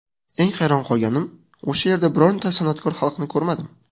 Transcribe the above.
Eng hayron qolganim o‘sha yerda birorta san’atkor xalqini ko‘rmadim.